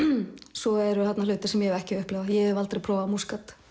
svo eru þarna hlutir sem ég hef ekki upplifað ég hef aldrei prófað Múskat